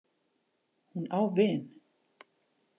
Hún á vin.